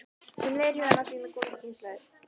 Sem leiðir hugann að því: Hvað með komandi kynslóðir?